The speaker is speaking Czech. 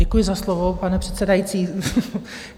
Děkuji za slovo, pane předsedající.